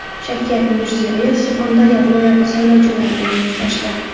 Shavkat Mirziyoyev Surxondaryo viloyati saylovchilari bilan uchrashdi.